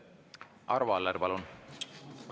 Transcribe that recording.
Arvo Aller, palun!